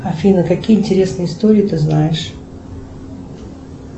афина какие интересные истории ты знаешь